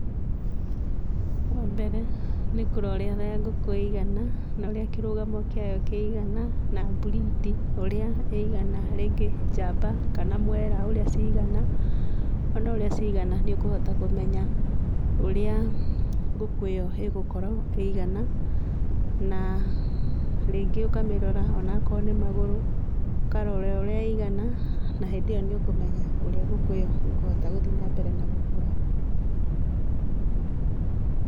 Wa mbere, nĩ kũrora ũrĩa ngũkũ igana na ũrĩa kĩrũgamo kĩayo kĩigana na breed ũrĩa ĩigana rĩngĩ njamba kana mwera ũrĩa cigana, wona ũrĩa cigana nĩ ũkũhota kũmenya ũrĩa ngũkũ ĩyo ĩgũkorwo ĩigana, na rĩngĩ ũkamĩrora onakorwo nĩ magũrũ ũkarora ũrĩa ĩigana na hĩndĩ ĩyo nĩ ũkũmenya ũrĩa ngũkũ ĩyo ĩkũhota gũthiĩ na mbere.